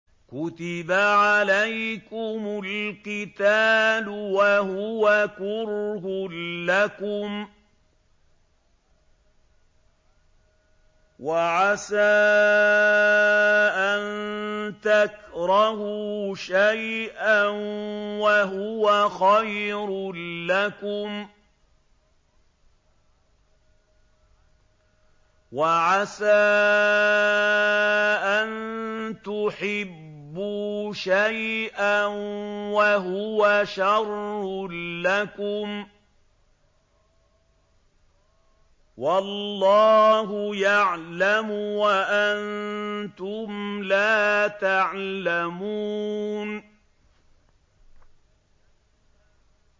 كُتِبَ عَلَيْكُمُ الْقِتَالُ وَهُوَ كُرْهٌ لَّكُمْ ۖ وَعَسَىٰ أَن تَكْرَهُوا شَيْئًا وَهُوَ خَيْرٌ لَّكُمْ ۖ وَعَسَىٰ أَن تُحِبُّوا شَيْئًا وَهُوَ شَرٌّ لَّكُمْ ۗ وَاللَّهُ يَعْلَمُ وَأَنتُمْ لَا تَعْلَمُونَ